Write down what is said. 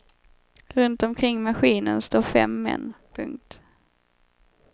Runt omkring maskinen står fem män. punkt